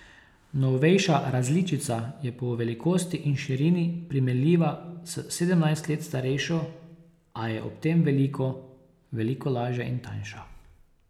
Novejša različica je po velikosti in širini primerljiva s sedemnajst let starejšo, a je ob tem veliko, veliko lažja in tanjša.